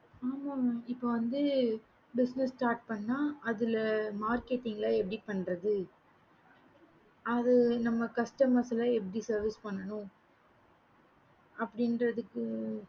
ஆமா mam இப்ப வந்து business start பண்ண அதுல marketing லாம் எப்படி பன்றது அங்க நம்ப customers லாம் எப்படி services பண்ணனும் அப்படின்றதுக்கு